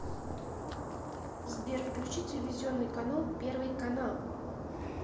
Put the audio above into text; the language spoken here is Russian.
сбер включи телевизионный канал первый канал